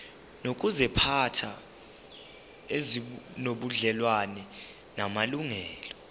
nezokuziphatha ezinobudlelwano namalungelo